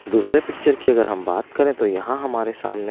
दूसरे पिक्चर की अगर हम बात करें तो यहाँ हमारे सामने--